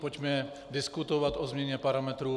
Pojďme diskutovat o změně parametrů.